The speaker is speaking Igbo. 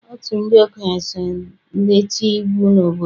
Otu ndị okenye so eti iwu n'obodo.